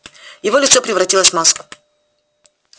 его лицо превратилось в маску